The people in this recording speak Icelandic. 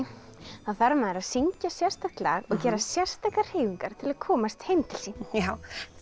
þarf maður að syngja sérstakt lag og gera sérstakar hreyfingar til að komast heim til sín Þura